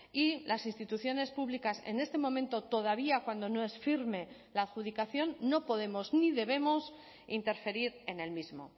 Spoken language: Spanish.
y las instituciones públicas en este momento todavía cuando no es firme la adjudicación no podemos ni debemos interferir en el mismo